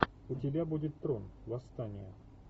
у тебя будет трон восстание